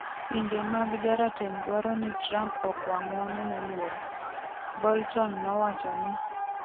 Pinje mag jarateng' dwaro ni Trump okwa ng'uono Moluor. Bolton nowacho ni